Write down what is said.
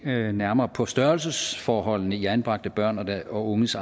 nærmere på størrelsesforholdene i anbragte børn og unges